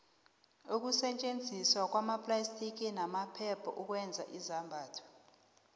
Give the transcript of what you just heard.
ukusetjenziswa kweemplastiki namaphepha ukwenza izambatho